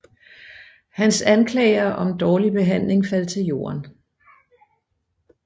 Hans anklager om dårlig behandling faldt til jorden